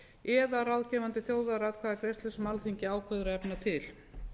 eða ráðgefandi þjóðaratkvæðagreiðslu sem alþingi ákveður að efna til